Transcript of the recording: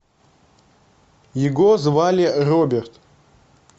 его звали роберт